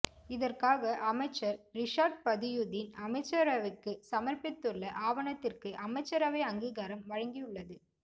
இதற்காக அமைச்சர் ரிஷாட் பதியுதீன் அமைச்சரவைக்குச் சமர்ப்பித்துள்ள ஆவணத்திற்கு அமைச்சரவை அங்கீகாரம் வழங்கியுள்ளது